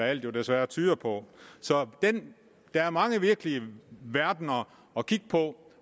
alt desværre tyder på der er mange virkelige verdener at kigge på